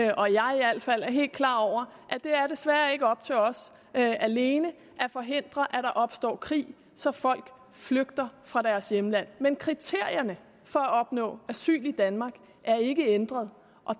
og jeg i alt fald er helt klar over det er desværre ikke op til os alene at forhindre at der opstår krige så folk flygter fra deres hjemlande men kriterierne for at opnå asyl i danmark er ikke ændret og